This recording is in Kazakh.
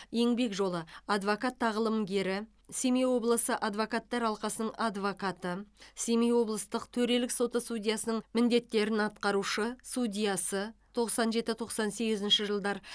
еңбек жолы адвокат тағылымгері семей облысы адвокаттар алқасының адвокаты семей облыстық төрелік соты судьясының міндеттерін атқарушы судьясы тоқсан жеті тоқсан сегізінші жылдар